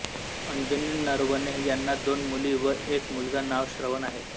अंजनी नरवणे यांना दोन मुली व एक मुलगा नाव श्रवण आहे